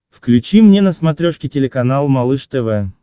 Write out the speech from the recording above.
включи мне на смотрешке телеканал малыш тв